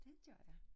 Det gør jeg